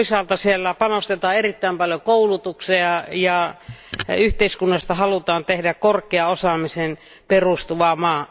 Toisaalta siellä panostetaan erittäin paljon koulutukseen ja yhteiskunnasta halutaan tehdä korkeaan osaamiseen perustuva maa.